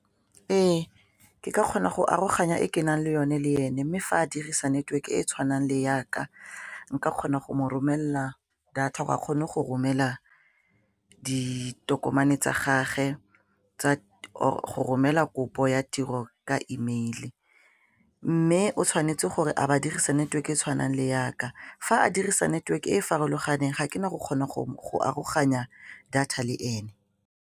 Ee, ke ka kgona go aroganya e ke nang le yone le ene mme fa a dirisa network e e tshwanang le yaka nka kgona go mo romelela data ga a kgone go romela ditokomane tsa gage tsa go romela kopo ya tiro ka emeile mme o tshwanetse gore a ba dirisa network e tshwanang le yaka fa a dirisa network e e farologaneng ga ke na go kgona go aroganya data le ene.